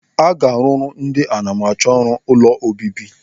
Aga a rụrụ ndị anamachọrụ ụlọ obibi.